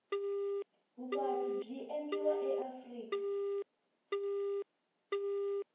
vuvatli bwi endliwa laafrika